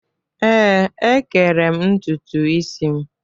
Ee, ékẹrè m ntutu isi m.